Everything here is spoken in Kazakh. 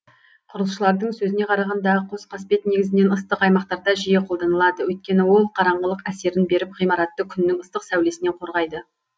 құрылысшылардың сөзіне қарағанда қос қасбет негізінен ыстық аймақтарда жиі қолданылады өйткені ол қараңғылық әсерін беріп ғимаратты күннің ыстық сәулесінен қорғайды